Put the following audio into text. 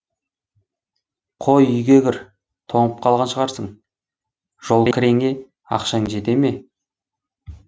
қой үйге кір тоңып қалған шығарсың жолкіреңе ақшаң жетті ме